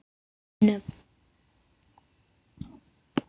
Engin nöfn.